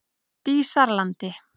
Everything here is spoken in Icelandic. Dísarlandi